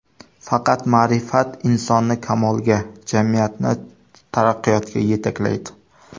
Faqat ma’rifat insonni kamolga, jamiyatni taraqqiyotga yetaklaydi.